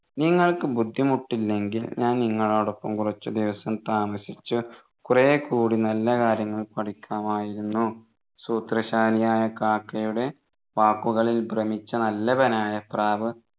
നിങ്ങൾക്ക് ബുദ്ധിമുട്ടില്ലെങ്കിൽ ഞാൻ നിങ്ങളോടൊപ്പം കുറച്ച് ദിവസം താമസിച്ച് കുറെ കൂടി നല്ല കാര്യങ്ങൾ പഠിക്കാമായിരുന്നു സൂത്രശാലിയായ കാക്കയുടെ വാക്കുകളിൽ ഭ്രമിച്ചു നല്ലവനായ പ്രാവ്